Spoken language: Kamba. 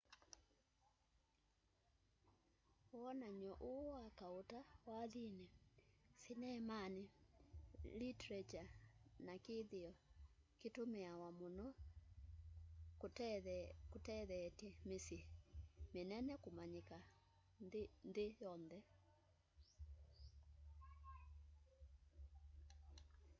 wonany'o uu wa kauta wathini sinemani literature na kithio kitumiawa muno kutetheetye misyi minene kumanyika nthi yonthe